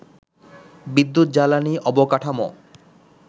বিদ্যুৎ, জ্বালানি, অবকাঠামো